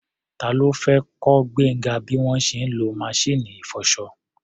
Ta ló fẹ́ kọ́ Gbénga bí wọ́n ṣe ń lo maṣíìnì ìfọṣọ?